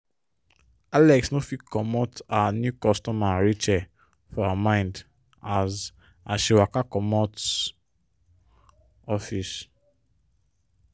alex no fit comot her new customer rachel for her mind as as she waka comot office.